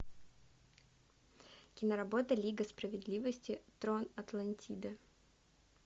киноработа лига справедливости трон атлантиды